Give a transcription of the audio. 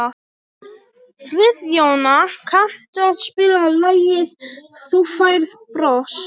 Friðjóna, kanntu að spila lagið „Þú Færð Bros“?